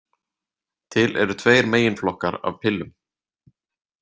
Til eru tveir meginflokkar af pillum.